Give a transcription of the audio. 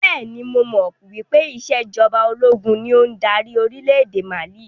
Bẹ́ẹ̀ni, mo mọ̀ wípé ìsèjọba ológun ni ó ń dárí orílédé Mali